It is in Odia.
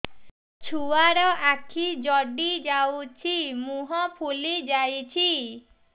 ଛୁଆର ଆଖି ଜଡ଼ି ଯାଉଛି ମୁହଁ ଫୁଲି ଯାଇଛି